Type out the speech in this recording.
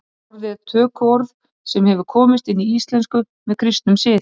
Orðið er tökuorð sem hefur komist inn í íslensku með kristnum sið.